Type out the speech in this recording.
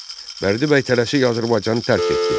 Bərdibəy tələsik Azərbaycanı tərk etdi.